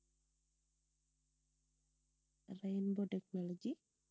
rainbow technology